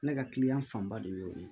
Ne ka kiliyan fanba de y'o de ye